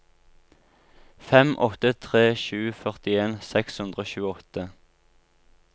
fem åtte tre sju førtien seks hundre og tjueåtte